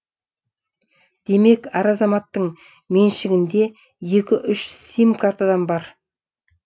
демек әр азаматтың меншігінде екі үш сим картадан бар